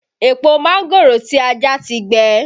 Èpò mángòrò tí a já ti gbẹ